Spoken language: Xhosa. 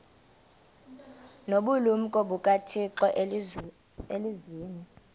nobulumko bukathixo elizwini